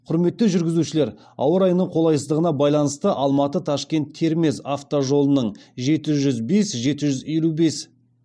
құрметті жүргізушілер ауа райының қолайсыздығына байланысты алматы ташкент термез автожолының